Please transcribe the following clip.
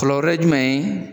ye jumɛn ye ?